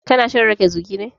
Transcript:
Ka na shan rage zugi ne?